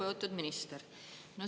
Lugupeetud minister!